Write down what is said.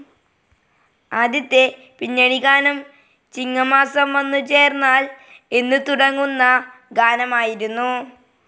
ആദ്യത്തെ പിന്നണിഗാനം ചിങ്ങമാസം വന്നുചേർന്നാൽ എന്നു തുടങ്ങുന്ന ഗാനമായിരുന്നു.